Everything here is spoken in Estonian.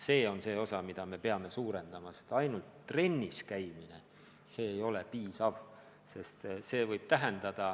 See on see osa, mida me peame suurendama, sest ainult trennis käimine ei ole piisav.